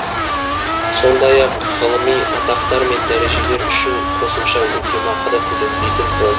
сондай ақ ғылыми атақтар мен дәрежелер үшін қосымша өтемақы да төленбейтін болды